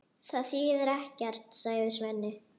Það þýðir ekkert, sagði Svenni.